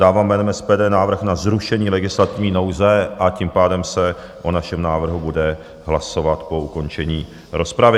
Dávám jménem SPD návrh na zrušení legislativní nouze, a tím pádem se o našem návrhu bude hlasovat po ukončení rozpravy.